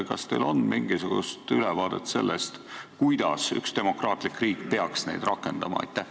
Kas teil on mingisugune ülevaade, kuidas ühes demokraatlikus riigis neid rakendatakse?